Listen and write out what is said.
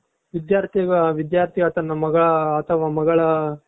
ವಿದ್ಯಾರ್ಥಿಗಳ ವಿಧ್ಯಾರ್ಥಿಯ ತನ್ನ ಮಗ ಅತವ ಮಗಳ